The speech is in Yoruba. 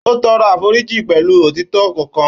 Ó tọrọ àforíjì pẹ̀lú òtítọ́ ọkàn.